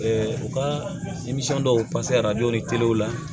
u ka denmisɛn dɔw arajo ni w la